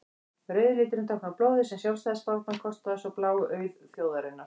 rauði liturinn táknar blóðið sem sjálfstæðisbaráttan kostaði og sá blái auð þjóðarinnar